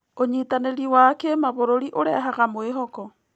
ũnyitanĩri wa kĩmabũrũri ũrehaga mwĩhoko.